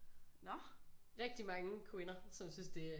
Rigtig mange kvinder som synes det